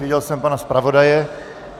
Viděl jsem pana zpravodaje.